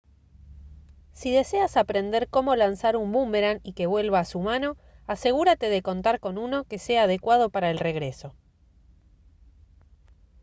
si deseas aprender cómo lanzar un búmeran y que vuelva a su mano asegúrate de contar con uno que sea adecuado para el regreso